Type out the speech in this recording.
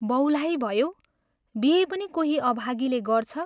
बौलाही भयौ बिहे पनि कोही अभागीले गर्छ?